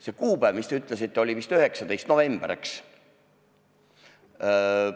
See kuupäev, mis te ütlesite, oli vist 19. november, eks?